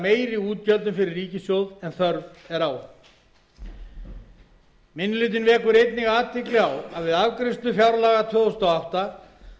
meiri útgjöldum fyrir ríkissjóð en þörf er á minni hlutinn vekur einnig athygli á að við afgreiðslu fjárlaga fyrir árið tvö þúsund og átta